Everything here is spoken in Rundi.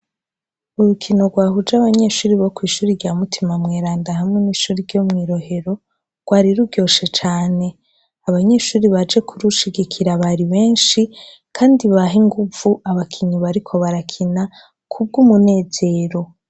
Urukino gwahuje abanyeshure bo kw' ishure rya mutima mweranda hamwe n' iryo mwi rohero ,gwari ruryoshe cane, abanyeshure baje kurushigikira bari benshi kandi baha inguvu abakinyi bariko barakina kubw' umunezero.